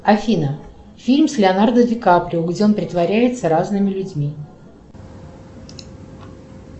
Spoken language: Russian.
афина фильм с леонардо ди каприо где он притворяется разными людьми